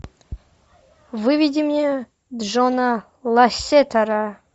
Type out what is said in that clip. выведи мне джона лассетера